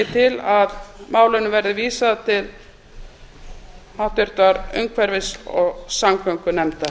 til að málinu verði vísað til háttvirtrar umhverfis og samgöngunefndar